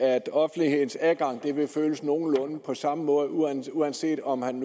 at offentlighedens adgang vil føles nogenlunde på samme måde uanset uanset om han